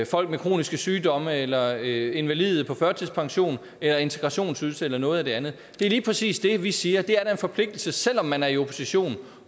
folk med kroniske sygdomme eller invalide på førtidspension eller integrationsydelse eller noget andet det er lige præcis det vi siger det er da en forpligtelse selv om man er i opposition